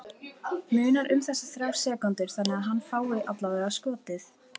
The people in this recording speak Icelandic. Munar um þessar þrjár sekúndur þannig að hann fái allavega skotið?